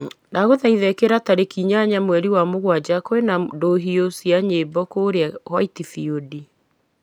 ndagũthaitha ĩkĩra tarĩki inyanya mweri wa mũgwanja kwĩ na ndũhio cia nyĩmbo kũũrĩa white field